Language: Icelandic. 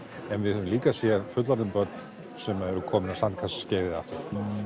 en við höfum líka séð fullorðin börn sem eru líka komin á sandkassaskeiðið aftur